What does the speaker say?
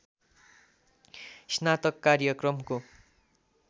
स्नातक कार्यक्रमको